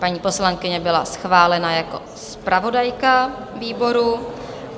Paní poslankyně byla schválena jako zpravodajka výboru.